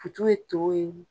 Futu ye to ye